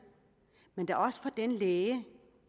men da også for den læge